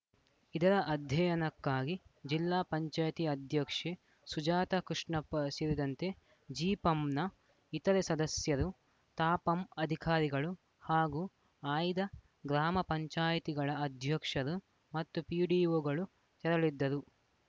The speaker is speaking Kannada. ಇದರ ಅಧ್ಯಯನಕ್ಕಾಗಿ ಜಿಲ್ಲಾ ಪಂಚಾಯಿತಿ ಅಧ್ಯಕ್ಷೆ ಸುಜಾತ ಕೃಷ್ಣಪ್ಪ ಸೇರಿದಂತೆ ಜಿಪಂನ ಇತರೆ ಸದಸ್ಯರು ತಾಪಂ ಅಧಿಕಾರಿಗಳು ಹಾಗೂ ಆಯ್ದ ಗ್ರಾಮ ಪಂಚಾಯಿತಿಗಳ ಅಧ್ಯಕ್ಷರು ಮತ್ತು ಪಿಡಿಓಗಳು ತೆರಳಿದ್ದರು